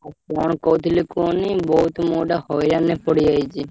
ଆଉ କଣ କହୁଥିଲି କୁହନି ବହୁତ୍ ମୁଁ ଗୋଟେ ହଇରାଣରେ ପଡିଯାଇଛି।